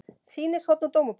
Sýnishorn úr Dómabók